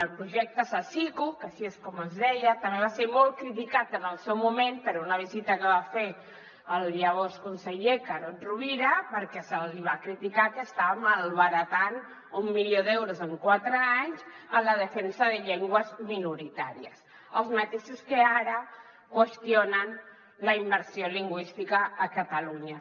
el projecte sasiku que així és com es deia també va ser molt criticat en el seu moment per una visita que va fer el llavors conseller carod rovira perquè se li va criticar que estava malbaratant un milió d’euros en quatre anys en la defensa de llengües minoritàries els mateixos que ara qüestionen la immersió lingüística a catalunya